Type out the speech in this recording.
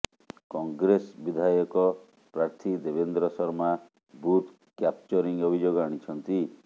କଂଗ୍ରେସ ବିଧାୟକ ପ୍ରାର୍ଥୀ Devendra Sharma booth capturing ଅଭିଯୋଗ ଆଣିଛନ୍ତି